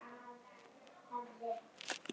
Lesa allt um svona æxli?